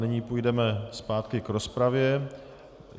Nyní půjdeme zpátky k rozpravě.